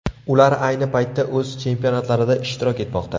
Ular ayni paytda o‘z chempionatlarida ishtirok etmoqda.